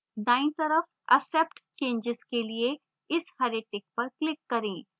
दायीं तरफ accept changes के लिए इस हरे tick पर click करें